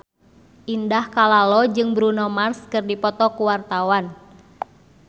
Indah Kalalo jeung Bruno Mars keur dipoto ku wartawan